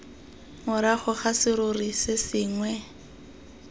morago ga serori se sengwe